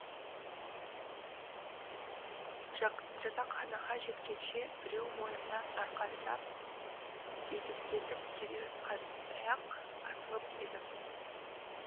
жатақханаға жеткенше біреу мойнымнан арқан сап дедектетіп келе жатқандай ақ асығып едім